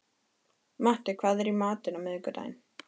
Matti, hvað er í matinn á miðvikudaginn?